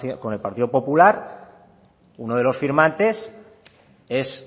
con el partido popular uno de los firmantes es